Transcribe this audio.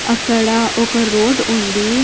అక్కడ ఒక రోడ్డు ఉంది.